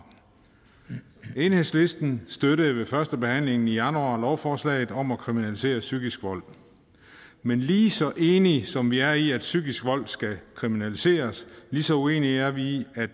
enhedslisten støttede ved førstebehandlingen i januar lovforslaget om at kriminalisere psykisk vold men lige så enige som vi er i at psykisk vold skal kriminaliseres lige så uenige er vi i at